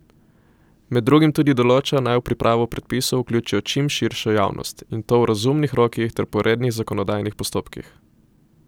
Med drugim tudi določa, naj v pripravo predpisov vključijo čim širšo javnost, in to v razumnih rokih ter po rednih zakonodajnih postopkih.